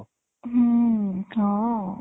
ହୁଁ ହଁ